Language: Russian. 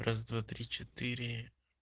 раз-два-три-четыре